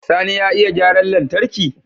Sani ya iya gyaran lantarki?